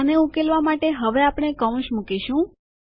આને ઉકેલવા માટે હવે આપણે કૌંસ મુકીશું